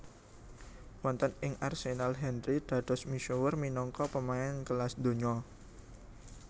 Wonten ing Arsenal Henry dados misuwur minangka pemain kelas donya